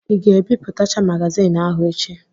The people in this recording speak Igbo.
Ị ga-ebipụtacha magaziini ahụ echi?